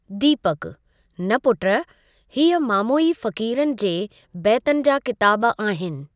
दीपकु: न पुट, हीअ मामोई फ़क़ीरनि जे बैतनि जा किताब आहिनि।